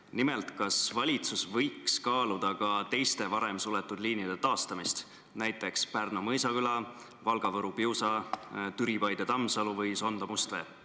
Nimelt, kas valitsus võiks kaaluda ka teiste varem suletud liinide taastamist, näiteks Pärnu–Mõisaküla, Valga–Võru–Piusa, Türi–Paide–Tamsalu või Sonda–Mustvee?